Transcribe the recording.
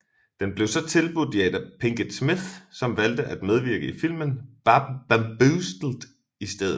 Den blev så tilbudt Jada Pinkett Smith som valgte at medvirke i filmen Bamboozled i stedet